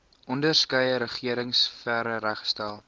onderskeie regeringsfere reggestel